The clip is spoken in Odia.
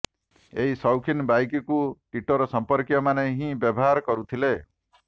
ଏହି ସୌଖିନ ବାଇକ୍କୁ ଟିଟୋର ସଂପର୍କୀୟମାନେ ହିଁ ବ୍ୟବହାର କରୁଥିଲେ